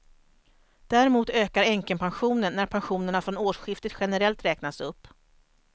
Däremot ökar änkepensionen när pensionerna från årsskiftet generellt räknas upp.